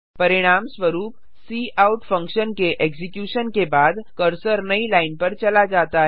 परिणामस्वरूप cout function के execution के बाद कर्सर नई लाइन पर चला जाता है